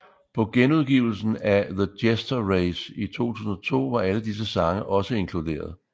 På genudgivelsen af The Jester Race i 2002 var alle disse sange også inkluderet